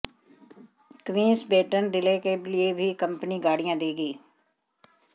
queen's baton relay के लिए भी कंपनी गाड़ियां देगी